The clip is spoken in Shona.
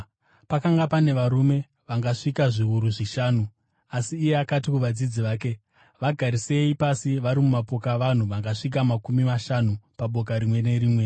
Pakanga pane varume vangasvika zviuru zvishanu. Asi iye akati kuvadzidzi vake, “Vagarisei pasi vari mumapoka avanhu vangasvika makumi mashanu paboka rimwe nerimwe.”